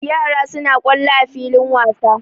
Yara suna kwallo a filin wasa.